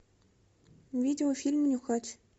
видеофильм нюхач